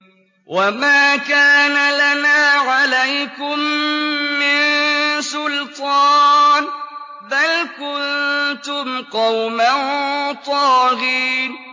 وَمَا كَانَ لَنَا عَلَيْكُم مِّن سُلْطَانٍ ۖ بَلْ كُنتُمْ قَوْمًا طَاغِينَ